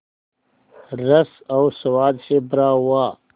रस और स्वाद से भरा हुआ